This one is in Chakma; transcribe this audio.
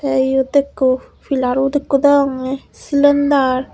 the iyot ekku pillar ekku degonge cylinder.